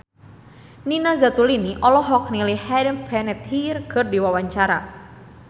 Nina Zatulini olohok ningali Hayden Panettiere keur diwawancara